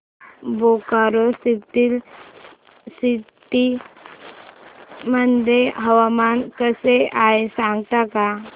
Bokaro steel city मध्ये हवामान कसे आहे सांगता का